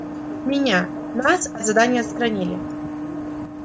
меня нас от задания отстранили